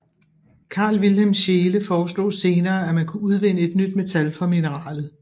Carl Wilhelm Scheele foreslog senere at man kunne udvinde et nyt metal fra mineralet